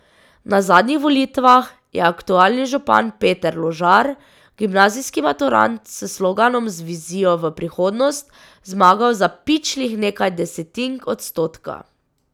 Na zadnjih volitvah je aktualni župan Peter Ložar, gimnazijski maturant, s sloganom Z vizijo v prihodnost zmagal za pičlih nekaj desetink odstotka.